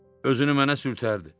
Özünü mənə sürtərdi.